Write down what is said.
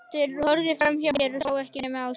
Þeir horfðu framhjá mér, sáu ekkert nema Áslaugu.